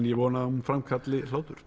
ég vona að hún framkalli hlátur